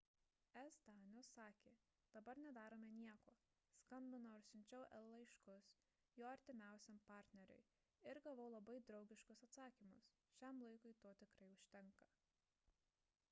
s danius sakė dabar nedarome nieko skambinau ir siunčiau el laiškus jo artimiausiam partneriui ir gavau labai draugiškus atsakymus šiam laikui to tikrai užtenka